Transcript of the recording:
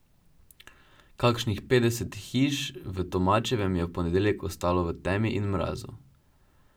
Kakšnih petdeset hiš v Tomačevem je v ponedeljek ostalo v temi in mrazu.